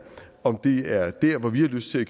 om det er der hvor vi har lyst til at